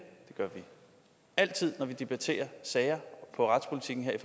gør vi altid når vi debatterer sager om retspolitikken her i